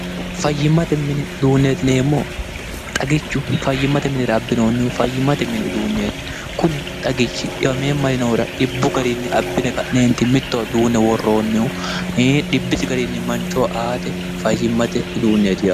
fayyimmate mini uduunneetineemmo xagichu fayyimmate minira abbinoonnihu fayyimmate mini uduunneeti kuni xagichi dhiwameemmalinoira dhibbu gariinni abbine ka'neenti mittoa duune worroonnihu i dhibbisi gariinni manchoo aate fayyimmate uduunneetie